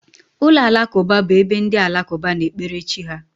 Ụlọ alakụba bụ ebe ndị alakụba na-ekpere chi ha